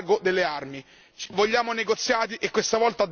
Vogliamo negoziati e questa volta devono essere seri.